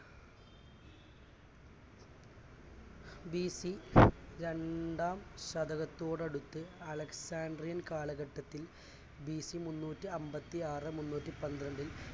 BC രണ്ടാം ശതകത്തോടടുത്തു alexandrian കാലഘട്ടത്തിൽ ബിസി മുന്നൂറ്റിഅൻപതിയാറ് മുന്നൂറ്റിപന്ത്രണ്ടിൽ